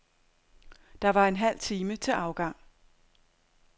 Der var en halv time til afgang.